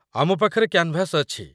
ଆମ ପାଖରେ କ୍ୟାନ୍‌ଭାସ୍‌ ଅଛି ।